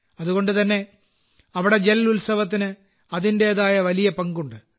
അതുകൊണ്ടുതന്നെ അവിടെ ജൽ ഉത്സവത്തിന് അതിന്റേതായ വലിയ പങ്കുണ്ട്